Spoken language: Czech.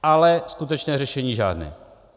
Ale skutečné řešení žádné.